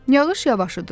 Yağış yavaşadı.